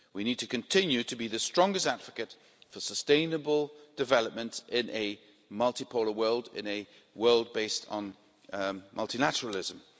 We need to continue to be the strongest advocate for sustainable development in a multi polar world, in a world based on multilateralism.